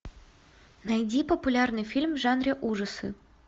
найди популярный фильм в жанре ужасы